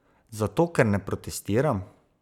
Zato ker ne protestiram?